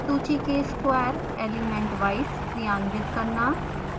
सूची के square elementwise क्रियान्वित करना